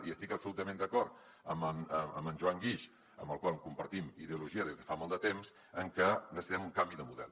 i estic absolutament d’acord amb en joan guix amb el qual compartim ideologia des de fa molt de temps en que necessitem un canvi de model